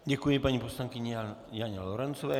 Děkuji paní poslankyni Janě Lorencové.